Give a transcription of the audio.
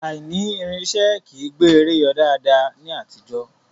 Aìní irinṣẹ́ kìí gbé eré yọ daadaa ní àtijọ́